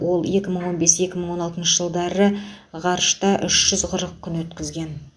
ол екі мың он бес екі мың он алтыншы жылдары ғарышта үш жүз қырық күн өткізген